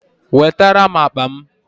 Wetere m akpa m